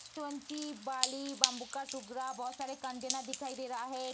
बाली bamboo का टुकड़ा बहोत सारे कंटेनर दिखाई दे रहा है।